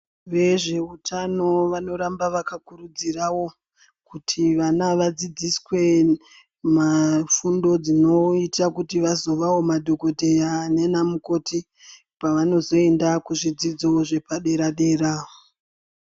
Vezveutano vanoramba vakakurudzirawo, kuti vana vadzidziswe fundo dzinoita kuti vazovawo madhogodheya nanamukoti pavanozoenda kuzvidzidzo zvepadera-dera.